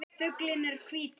Fuglinn er hvítur.